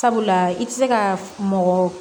Sabula i tɛ se ka mɔgɔ